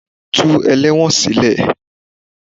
Tú ẹlẹ́wọ̀n sílè.